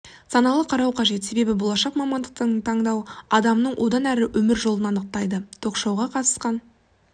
саналы қарау қажет себебі болашақ мамандықты таңдау адамның одан әрі өмір жолын анықтайды ток-шоуға қатысқан